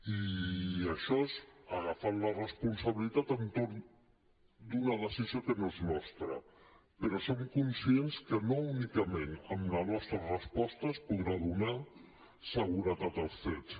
i això és agafant la responsabilitat entorn d’una decisió que no és nostra però som conscients que no únicament amb la nostra resposta es podrà donar seguretat als cets